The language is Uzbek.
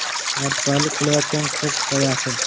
Mardikorlik qilayotgan qiz hikoyasi.